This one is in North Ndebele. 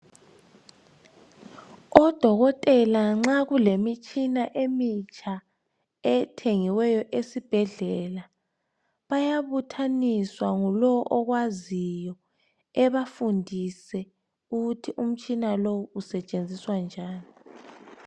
Odokotela nxa kulemitshina emitsha ethengiweyo esibhedlela bayabuthaniswa ngulo okwaziyo ebafundise ukuthi umtshina lo usetshenziswa njani.